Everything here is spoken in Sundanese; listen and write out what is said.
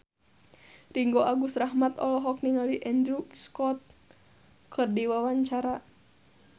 Ringgo Agus Rahman olohok ningali Andrew Scott keur diwawancara